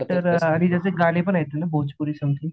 actor आणि त्याचे गाणे पण आहेत ना त्याचे भोजपुरी समथिंग